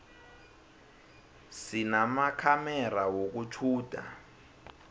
sinamakhamera wokutjhuda